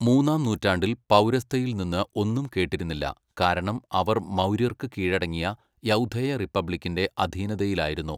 മൂന്നാം നൂറ്റാണ്ടിൽ പൗരസ്ഥയിൽ നിന്ന് ഒന്നും കേട്ടിരുന്നില്ല, കാരണം അവർ മൗര്യർക്ക് കീഴടങ്ങിയ യൗധേയ റിപ്പബ്ലിക്കിന്റെ അധീനതയിലായിരുന്നു.